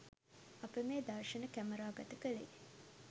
අප මේ දර්ශන කැමරාගත කළේ